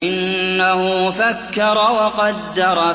إِنَّهُ فَكَّرَ وَقَدَّرَ